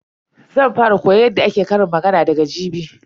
Zan fara koyon yadda ake ƙarin magana daga jibi.